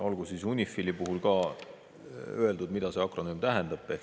Olgu siis UNIFIL-i puhul ka öeldud, mida see akronüüm tähendab.